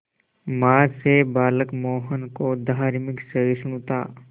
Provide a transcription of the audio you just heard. मां से बालक मोहन को धार्मिक सहिष्णुता